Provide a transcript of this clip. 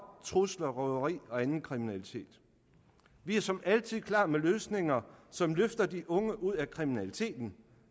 trusler røveri og anden kriminalitet vi er som altid klar med løsninger som løfter de unge ud af kriminaliteten